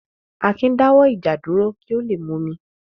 Akin dáwọ́ ìjà dúró kí ó le múmi.